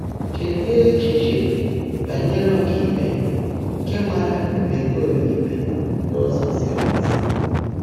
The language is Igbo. Chèèdị́ é́chíché bányèré ọ́kàíkpé nkè máàrá ómeèkọ́mé íkpé n’ụ́zọ́ zìrì ézí.